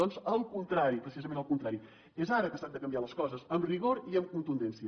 doncs al contrari precisament al contrari és ara que s’han de canviar les coses amb rigor i amb contundència